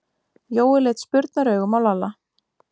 Jói leit spurnaraugum á Lalla.